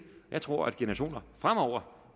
jeg tror at generationer fremover